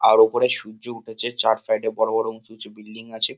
আর ওপরে সূর্য উঠেছে চার সাইড -এ বড়ো বড়ো উঁচু উঁচু বিল্ডিং আছে।